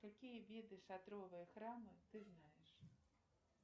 какие виды шатровые храмы ты знаешь